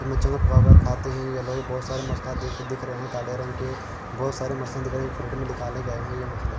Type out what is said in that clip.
ये मछवागार खाते है ये लोग बोहोत सारे मछलिया देख देख रहे है काले रंग के बोहोत सारे मछलिया दिख रहे है प्लेट में निकले गए है ये मछलिया।